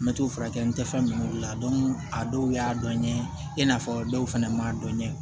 N bɛ t'o furakɛ n tɛ fɛn min la a dɔw y'a dɔ ɲɛ ye i n'a fɔ dɔw fana ma dɔn kɛ